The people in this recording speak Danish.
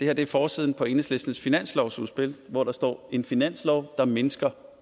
er forsiden på enhedslistens finanslovsudspil hvor der står en finanslov der mindsker